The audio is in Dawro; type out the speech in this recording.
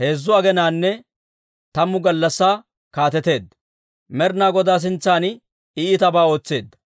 heezzu aginanne tammu gallassaa kaateteedda. Med'inaa Godaa sintsan I iitabaa ootseedda.